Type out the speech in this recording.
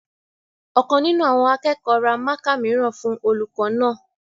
Ọ̀kan nínú àwọn akẹ́kọ̀ọ́ ra mákà mìíràn fún olùkọ́ náà